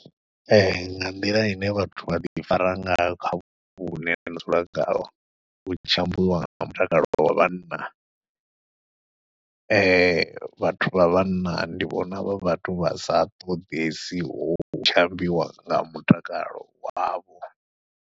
Ee nga nḓila ine vhathu vha ḓi fara ngayo kha vhupo vhune nṋe nda dzula khaho, hu tshi ambiwa nga mutakalo wa vhanna vhathu vha vhanna ndi vhona vhathu vha sa ṱoḓesiho hutshi ambiwa nga mutakalo wavho.